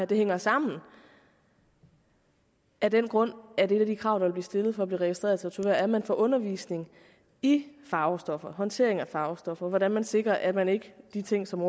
det hænger sammen af den grund at et af de krav der vil blive stillet for at blive registreret tatovør er at man får undervisning i farvestoffer håndtering af farvestoffer hvordan man sikrer at man ikke de ting som